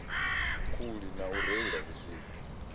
khuli na u reila vhusiku